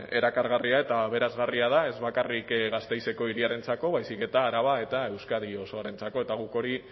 erakargarria eta aberasgarria da ez bakarrik gasteizeko hiriarentzako baizik eta araba eta euskadi osoarentzako eta guk hori